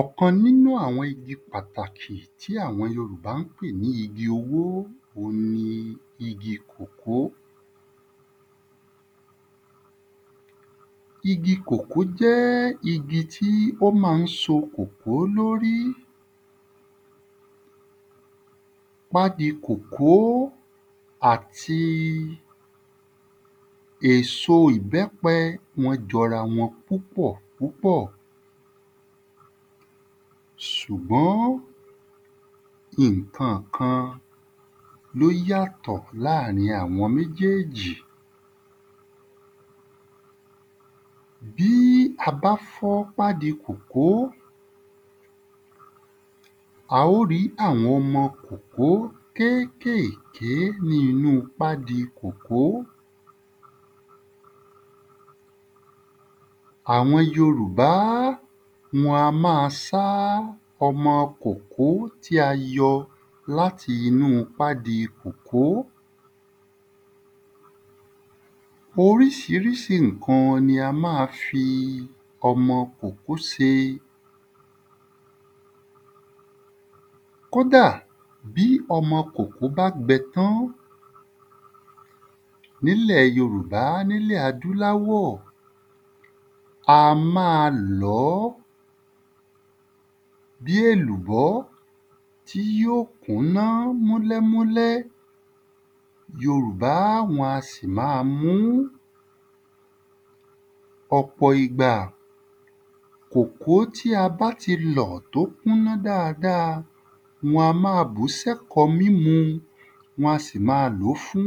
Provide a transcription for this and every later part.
Ọ̀kan n’ínú àwọn igi pàtàkì tí àwọn yorùbá ǹ pè ní igi owó òun ni igi kòkó. Igi kòkó jẹ́ igi t’ó ma ń so kòkó l’órí Pádi kòkó àti èso ìbẹ́pẹ wọ́n jọ’ra wọn púpọ̀ Ṣùgbọ́n, ìnkankan l'ó yàtọ̀ láàrin àwọn méjéèjì Bí i a bá fọ́ pádi kòkó a ó rí àwọn ọmọ kòkó kékèké ní inú pádi kòkó Àwọn yorùbá, wọn a má a sá ọmọ kòkó ti a yọ l’áti 'nú pádi kòkó Orísirísi ìnkan ni a má a fi ọmọ kòkó se Kódà bí ọmọ kòkó bá gbẹ tán N’ílẹ̀ yorùbá, n'ílẹ̀ adúláwọ̀, a má a lọ̀ọ́ bí èlùbọ̀ tí yó ó kúná múlẹ́múlẹ́. Yorùbá wọ́n a sì ma mú. Ọ̀pọ̀ ìgbà, kòkó ti a bá ti lọ̀ tó kúná dada wọn má a bù s’ẹ́kọ́ mímú Wọn sì ma lọ́ fún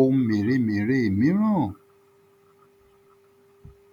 ohun mèremère míràn